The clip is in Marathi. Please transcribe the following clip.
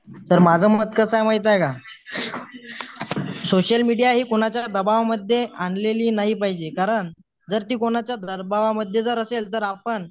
सर माझं मत कसा आहे माहित आहे काय सोशल मीडिया हे कोणाच्या दाबावामध्ये आणलेली नाही पाहिजे कारण जर ती कोणाच्या मध्ये जर असेल तर आपण